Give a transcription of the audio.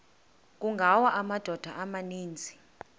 kungawa amadoda amaninzi